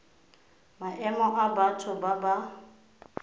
maemo a batho ba ba